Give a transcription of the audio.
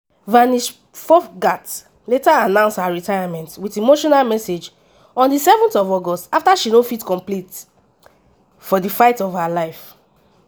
vinesh phogat later announce her retirement wit emotional message on 7 august afta she no fit compete for di fight of her life.